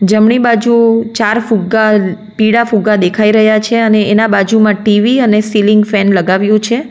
જમણી બાજુ ચાર ફુગ્ગા પીળા ફુગ્ગા દેખાઈ રહ્યા છે અને એના બાજુમાં ટી_વી અને સીલીંગ ફેન લગાવ્યું છે.